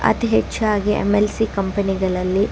ಅತಿ ಹೆಚ್ಚಾಗಿ MNC company ಗಳಲ್ಲಿ --